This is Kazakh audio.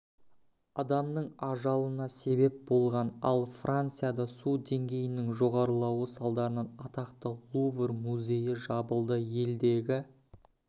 адамның ажалына себеп болған ал францияда су деңгейінің жоғарылауы салдарынан атақты лувр музейі жабылды елдегі